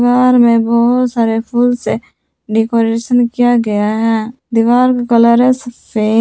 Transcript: घर में बहुत सारे फूल से डेकोरेशन किया गया है दीवार का कलर है सफेद।